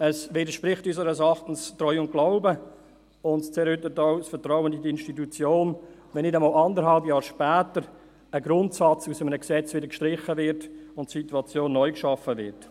Es widerspricht unseres Erachtens dem Grundsatz von Treu und Glauben und zerrüttet auch das Vertrauen in die Institutionen, wenn nicht einmal anderthalb Jahre später ein Grundsatz aus einem Gesetz wieder gestrichen und eine neue Situation geschaffen wird.